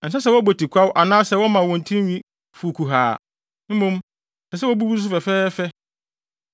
“ ‘Ɛnsɛ sɛ wɔbɔ tikwaw anaasɛ wɔma wɔn tinwi fuw kuhaa, mmom ɛsɛ sɛ wobubu so fɛfɛɛfɛ.